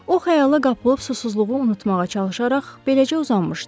O xəyala qapılıb susuzluğu unutmağa çalışaraq beləcə uzanmışdı.